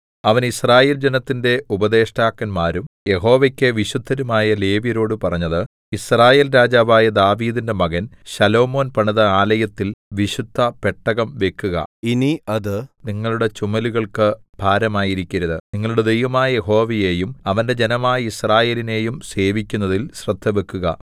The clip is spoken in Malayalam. അവൻ യിസ്രായേൽ ജനത്തിന്റെ ഉപദേഷ്ടാക്കന്മാരും യഹോവയ്ക്ക് വിശുദ്ധരുമായ ലേവ്യരോട് പറഞ്ഞത് യിസ്രായേൽ രാജാവായ ദാവീദിന്റെ മകൻ ശലോമോൻ പണിത ആലയത്തിൽ വിശുദ്ധപെട്ടകം വെക്കുക ഇനി അത് നിങ്ങളുടെ ചുമലുകൾക്ക് ഭാരമായിരിക്കരുത് നിങ്ങളുടെ ദൈവമായ യഹോവയെയും അവന്റെ ജനമായ യിസ്രായേലിനെയും സേവിക്കുന്നതിൽ ശ്രദ്ധവെക്കുക